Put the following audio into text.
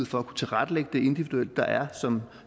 for at kunne tilrettelægge det individuelt der er som